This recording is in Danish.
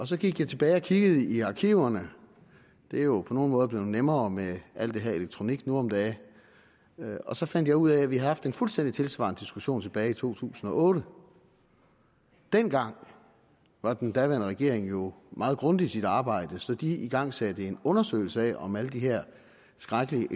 så gik jeg tilbage og kiggede i arkiverne det er jo på nogle måder blevet nemmere med alt det her elektronik nu om dage og så fandt jeg ud af at vi havde haft en fuldstændig tilsvarende diskussion tilbage i to tusind og otte dengang var den daværende regering jo meget grundig i sit arbejde så de igangsatte en undersøgelse af om alle de her skrækkelige